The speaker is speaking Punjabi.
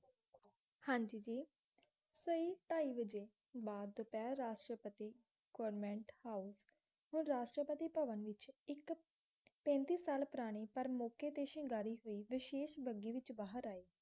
ਸਹੀ ਢਾਈ ਵਜੇ ਬਾਅਦ ਦੁਪਹਿਰ ਰਾਸ਼ਟਰਪਤੀ ਗੋਵਰਮੈਂਟ ਹਾਊਸ ਹੁਣ ਰਾਸ਼ਟਰਪਤੀ ਭਵਨ ਵਿੱਚ ਇੱਕ ਪੈਂਤੀ ਸਾਲ ਪੁਰਾਣੀ ਪਰ ਮੌਕੇ ਤੇ ਸ਼ਿੰਗਾਰੀ ਹੋਈ ਵਿਸ਼ੇਸ਼ ਬੱਘੀ ਵਿੱਚ ਬਾਹਰ ਆਏ